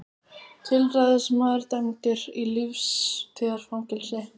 Tilræðismaður dæmdur í lífstíðarfangelsi